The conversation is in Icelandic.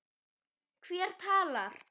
Hver talar?